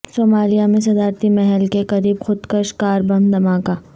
Somalia میں صدارتی محل کے قریب خودکش کار بم دھماکہ